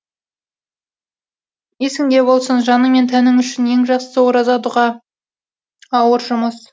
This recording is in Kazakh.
есіңде болсын жаның мен тәнің үшін ең жақсысы ораза дұға ауыр жұмыс